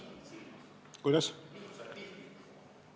Kuidas?